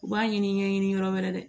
U b'a ɲini ɲɛɲɛ ɲini yɔrɔ wɛrɛ de